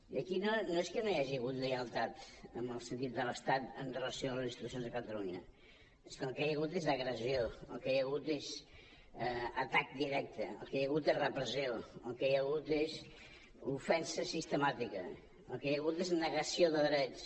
i aquí no és que no hi hagi hagut lleialtat en el sentit de l’estat amb relació a les institucions de catalunya és que el que hi ha hagut és agressió el que hi ha hagut és atac directe el que hi ha hagut és repressió el que hi ha hagut és ofensa sistemàtica el que hi ha hagut és negació de drets